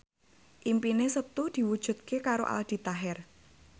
impine Setu diwujudke karo Aldi Taher